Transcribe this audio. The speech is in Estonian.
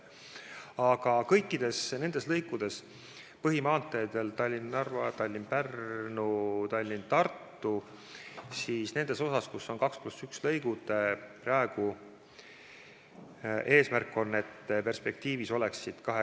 Aga kõikidel põhimaanteedel ehk Tallinna–Narva, Tallinna–Pärnu ja Tallinna–Tartu maanteel peaksid perspektiivis ka nendes osades, kus on 2 + 1 lõigud, olema mõlemas suunas kaks rida.